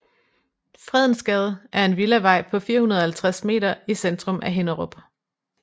Fredensgade er en villavej på 450 m i centrum af Hinnerup